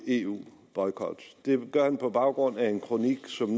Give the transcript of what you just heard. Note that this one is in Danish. eu boykot og det gør han på baggrund af en kronik som